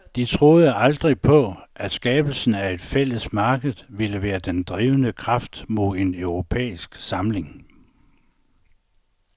De troede aldrig på, at skabelsen af et fælles marked ville være den drivende kraft mod en europæisk samling.